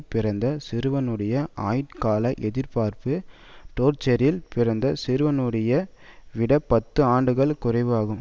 பிறந்த சிறுவனுடைய ஆயுட்கால எதிர்பார்ப்பு டோர்செட்டில் பிறந்த சிறுவ விட பத்து ஆண்டுகள் குறைவு ஆகும்